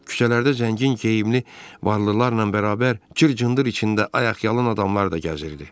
Küçələrdə zəngin geyimli varlılarla bərabər cır-cındırın içində ayaqyalın adamlar da gəzirdi.